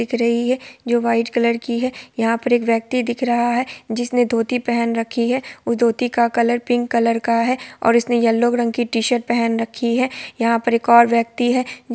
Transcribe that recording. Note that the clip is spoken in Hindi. --दिख रही है जो व्हाइट कलर की है| यहा पर एक व्यक्ति दिख रहा है जिसने धोती पहन रखी है| उस धोती का कलर पिंक कलर का है| और उसने येल्लो रंग की टी-शर्ट पहन रखी है| यहा पर एक और व्यक्ति है।